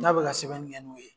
N'a be ka sɛbɛnni kɛ n'o ye